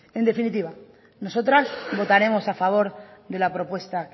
en definitiva nosotras votaremos a favor de la propuesta